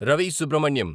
Ravi Subrahmanyam